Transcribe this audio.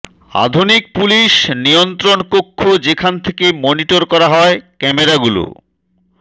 আধুনিক পুলিশ নিয়ন্ত্রণ কক্ষ যেখান থেকে মনিটর করা হয় ক্যামেরাগুলো